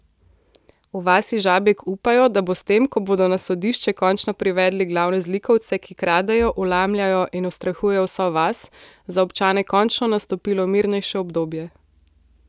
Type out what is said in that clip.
V vasi Žabjek upajo, da bo s tem, ko bodo na sodišče končno privedli glavne zlikovce, ki kradejo, vlamljajo in ustrahujejo vso vas, za občane končno nastopilo mirnejše obdobje.